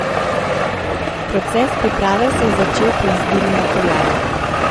Proces priprave se je začel pri izbiri materiala.